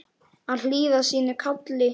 Að hlýða sínu kalli